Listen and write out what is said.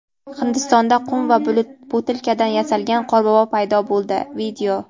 Hindistonda qum va butilkadan yasalgan qorbobo paydo bo‘ldi.